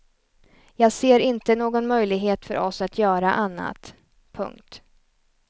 Jag ser inte någon möjlighet för oss att göra annat. punkt